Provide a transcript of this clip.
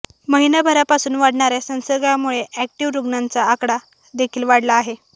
महिनाभरापासून वाढणाऱ्या संसर्गामुळे अॅक्टिव्ह रूग्णांचा आकडा देखील वाढला आहे